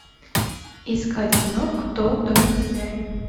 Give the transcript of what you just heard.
искать кино кто в доме хозяин